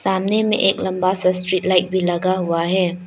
सामने में एक लंबा सा स्ट्रीट लाइट भी लगा हुआ है।